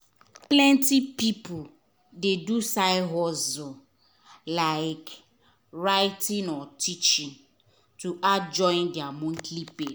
plenty people dey do side hustle like writing or teaching to add join their monthly pay.